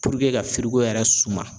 ka yɛrɛ suma.